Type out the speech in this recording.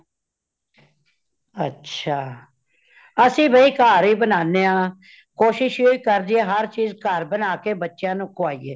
ਅੱਛਾ , ਅਸੀ ਬਈ ਘਰ ਹੀ ਬਨਾਂਨੇ ਹਾਂ , ਕੋਸ਼ਿਸ ਇਹੋ ਕਰਦੇ ਹਰ ਚੀਜ ਘਰ ਬਨਾਕੇ ਬੱਚਿਆਂ ਨੂੰ ਖ਼ਵਾਈਏ